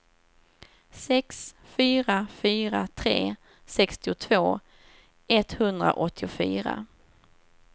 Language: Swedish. sex fyra fyra tre sextiotvå etthundraåttiofyra